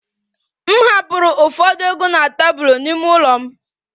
M hapụrụ ụfọdụ ego na tebụl n'ime ụlọ m